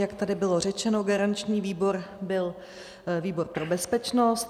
Jak tady bylo řečeno, garanční výbor byl výbor pro bezpečnost.